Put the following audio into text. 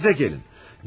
Kəndinizə gəlin!